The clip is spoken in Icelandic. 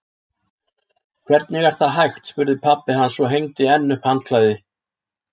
Hvernig er það hægt? spurði pabbi hans og hengdi enn upp handklæði.